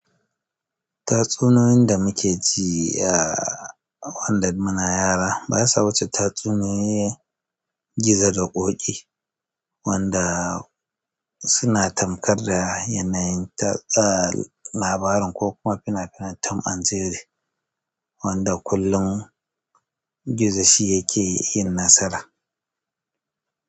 Tatsuniyoyin da muke ji a wanda muna yara ba ya sa wuce tatsuniyoyin gizo da ƙoƙi wanda suna tamkar da yanayin labarin ko kuma fina finan tom and jerry wanda kullum gizo shi yake yin nasara.